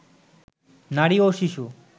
নারী ও শিশু